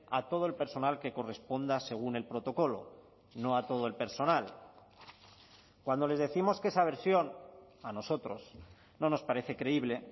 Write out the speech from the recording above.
a todo el personal que corresponda según el protocolo no a todo el personal cuando les décimos que esa versión a nosotros no nos parece creíble